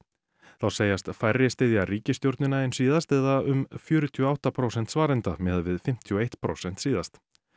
þá segjast færri styðja ríkisstjórnina en síðast eða um fjörutíu og átta prósent svarenda miðað við fimmtíu og eitt prósent síðast